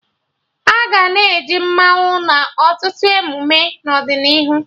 Aga na-eji mmanwụ na ọtụtụ emume n'ọdịnihu